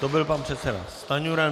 To byl pan předseda Stanjura.